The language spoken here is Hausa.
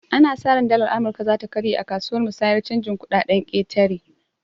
Ana sa ran dalar amurka zata karye akasuwar musayar canjin kuɗaɗen ƙetare